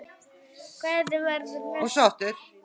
Hún hélt sinni reisn.